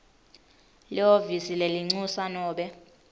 lihhovisi lelincusa nobe